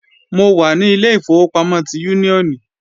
Mo wà ní ilé ìfowópamọ́ ti Úníónì